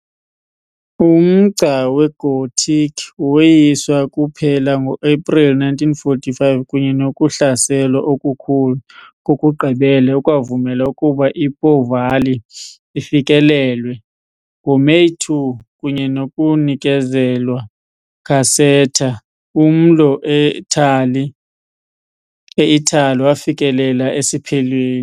Umgca weGothic woyiswa kuphela ngo-Aprili 1945 kunye nokuhlaselwa okukhulu kokugqibela okwavumela ukuba iPo Valley ifikelelwe, ngoMeyi 2, kunye nokunikezelwa Caserta, umlo eItali wafikelela esiphelweni.